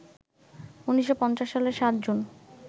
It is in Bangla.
১৯৫০ সালের ৭ জুন